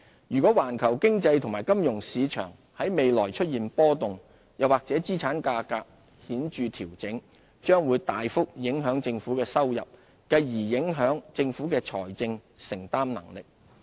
如果環球經濟及金融市場在未來出現波動，又或資產價格顯著調整，將會大幅影響政府的收入，繼而影響政府的財政承擔能力。